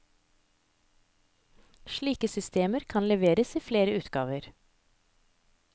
Slike systemer kan leveres i flere utgaver.